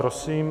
Prosím.